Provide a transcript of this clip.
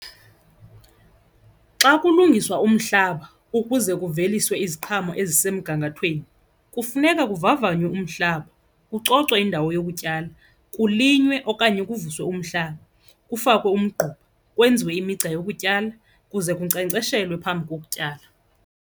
Xa kulungiswa umhlaba ukuze kuveliswe iziqhamo ezisemgangathweni kufuneka kuvavanywe umhlaba, kucocwe indawo yokutyala, kulinywe okanye kuvuswe umhlaba, kufakwe umgquba, kwenziwe imigca yokutyala kuze kunkcenkceshelwe phambi kokutyala.